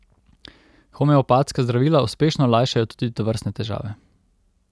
Homeopatska zdravila uspešno lajšajo tudi tovrstne težave.